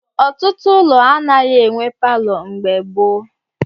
Ọtụtụ ụlọ anaghị enwe palọ mgbe gboo.